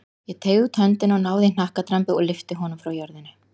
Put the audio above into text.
Ég teygði út höndina, náði í hnakkadrambið og lyfti honum frá jörðu.